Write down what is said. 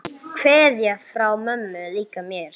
Kveðja frá mömmu líka mér.